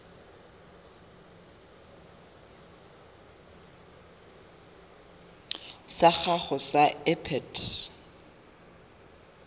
sa gago sa irp it